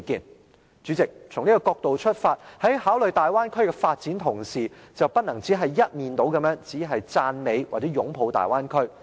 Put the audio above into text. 代理主席，從這個角度出發，在考慮大灣區的發展同時，便不能只是一面倒的只是讚美，或者擁抱大灣區。